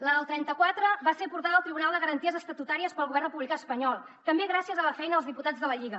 la del trenta quatre va ser portada al tribunal de garanties estatutàries pel govern republicà espanyol també gràcies a la feina dels diputats de la lliga